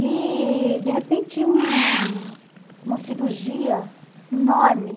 E, de repente, um uma cirurgia enorme.